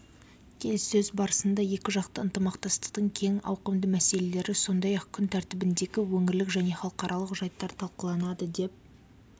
келіссөз барысында екіжақты ынтымақтастықтың кең ауқымды мәселелері сондай-ақ күн тәртібіндегі өңірлік және халықаралық жайттар талқыланады деп